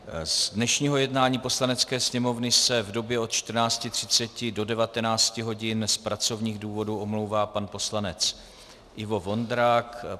Z dnešního jednání Poslanecké sněmovny se v době od 14.30 do 19 hodin z pracovních důvodů omlouvá pan poslanec Ivo Vondrák.